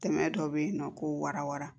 Tɛmɛ dɔ bɛ yen nɔ ko warawa